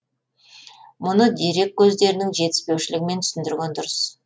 мұны дерек көздерінің жетіспеушілігімен түсіндірген дұрыс